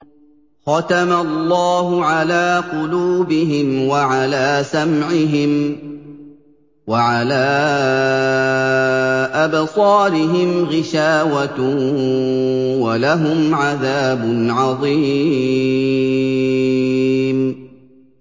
خَتَمَ اللَّهُ عَلَىٰ قُلُوبِهِمْ وَعَلَىٰ سَمْعِهِمْ ۖ وَعَلَىٰ أَبْصَارِهِمْ غِشَاوَةٌ ۖ وَلَهُمْ عَذَابٌ عَظِيمٌ